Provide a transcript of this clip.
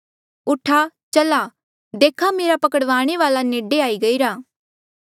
ऊठा चला देखा मेरा पकड़वाणे वाल्आ नेडे आई गईरा